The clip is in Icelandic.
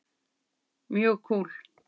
Mjög kúl.